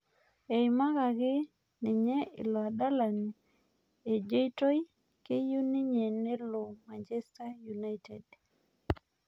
Eimkaki ninye ilo adalani ejeitoi keyieu ninye nelo manchester United